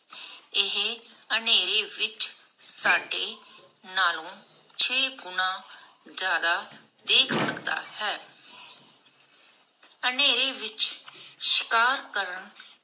ਇਹ ਅੰਧੇਰੇ ਵਿਚ ਸਾਡੇ ਨਾਲੂ ਛੇ ਗੁਨਾ ਜ਼ਯਾਦਾ ਦੇਖ ਸਕਦਾ ਹੈ. ਅੰਧੇਰੇ ਵਿਚ ਸ਼ਿਕਾਰ ਕਰਨ